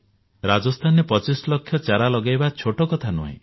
ରାଜସ୍ଥାନରେ ପଚିଶ ଲକ୍ଷ ଚାରା ଲଗାଇବା ଛୋଟ କଥା ନୁହେଁ